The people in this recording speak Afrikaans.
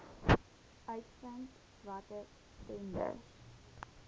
uitvind watter tenders